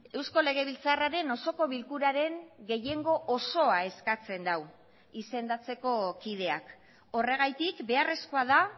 eusko legebiltzarraren osoko bilkuraren gehiengo osoa eskatzen du izendatzeko kideak horregatik beharrezkoa da